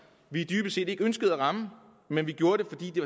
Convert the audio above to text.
vi dybest set ikke ønskede at ramme men vi gjorde det fordi det